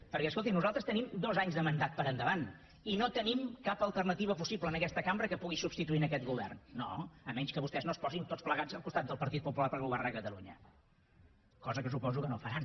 perquè escolti nosaltres tenim dos anys de mandat per endavant i no tenim cap alternativa possible en aquesta cambra que pugui substituir aquest govern no a menys que vostès no es posin tots plegats al costat del partit popular per governar catalunya cosa que suposo que no faran